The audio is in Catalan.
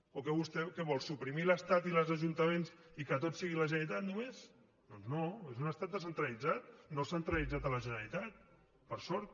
o vostè què vol suprimir l’estat i els ajuntaments i que tot sigui la generalitat només doncs no és un estat descentralitzat no centralitzat a la generalitat per sort